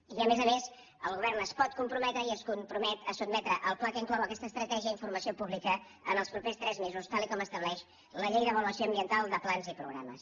i a més a més el govern es pot comprometre i es compromet a sotmetre el pla que inclou aquesta estratègia a informació pública en els propers tres mesos tal com estableix la llei d’avaluació ambiental de plans i programes